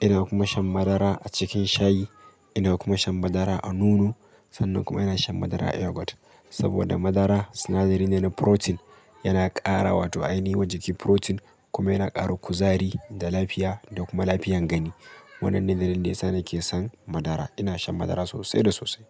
ina kuma shan madara a cikin shayi, ina kuma shan madara a nono sannan kuma ina shan madara a yogurt. Saboda madara sinadari ne na protein, yana ƙara wato ainihi wa jiki protein kuma yana ƙara kuzari da lafiya da kuma lafiyan gani. Wannan ne dalilin da yasa nake son madara. Ina shan madara sosai da sosai.